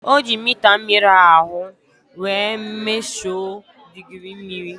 O ji mita mmiri ahu wee mesho digirii mmiri